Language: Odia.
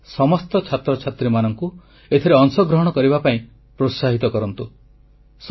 ସେମାନେ ସମସ୍ତ ଛାତ୍ରଛାତ୍ରୀମାନଙ୍କୁ ଏଥିରେ ଅଂଶଗ୍ରହଣ କରିବା ପାଇଁ ପ୍ରୋତ୍ସାହିତ କରନ୍ତୁ